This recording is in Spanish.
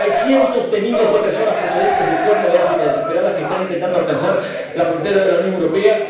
Hay cientos de miles de personas procedentes del Cuerno de África, desesperadas, que están intentando alcanzar la frontera de la Unión Europea.